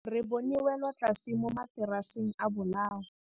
Re bone wêlôtlasê mo mataraseng a bolaô.